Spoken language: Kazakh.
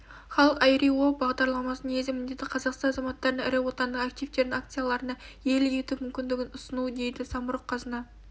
халық ай-ри-о бағдарламасының негізгі міндеті қазақстан азаматтарына ірі отандық активтердің акцияларына иелік ету мүмкіндігін ұсыну деді самұрық-қазына